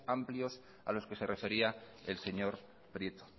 amplios a los que se refería el señor prieto